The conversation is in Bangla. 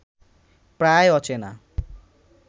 প্রায় অচেনা